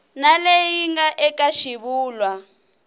na leyi nga eka xivulwa